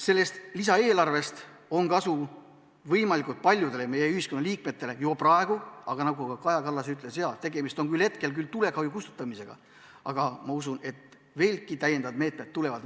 Sellest lisaeelarvest on kasu võimalikult paljudel meie ühiskonna liikmetel juba praegu, aga – nagu Kaja Kallas ütles – tegemist on hetkel tulekahju kustutamisega, kuid ma usun, et täiendavad meetmed on tulekul.